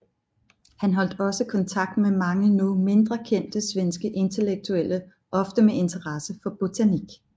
Han holdt også kontakt med mange nu mindre kendte svenske intellektuelle ofte med interesse for botanik